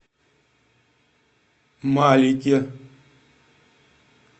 малике